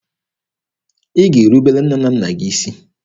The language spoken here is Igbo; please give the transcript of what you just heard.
Ị ga-erubere nne na nna gị isi!